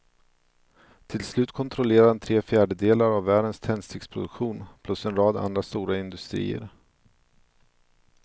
Till slut kontrollerade han tre fjärdedelar av världens tändsticksproduktion plus en rad andra stora industrier.